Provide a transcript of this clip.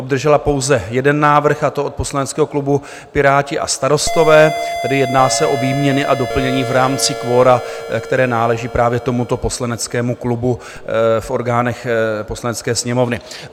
Obdržela pouze jeden návrh, a to od poslaneckého klubu Piráti a Starostové, tedy jedná se o výměny a doplnění v rámci kvora, které náleží právě tomuto poslaneckému klubu v orgánech Poslanecké sněmovny.